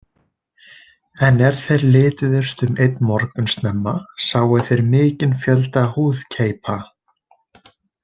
En er þeir lituðust um einn morgun snemma, sáu þeir mikinn fjölda húðkeipa.